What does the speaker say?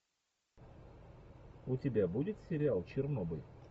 у тебя будет сериал чернобыль